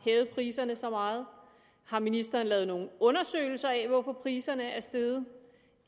hævet priserne så meget har ministeren lavet nogen undersøgelser af hvorfor priserne er steget